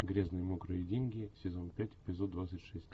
грязные мокрые деньги сезон пять эпизод двадцать шесть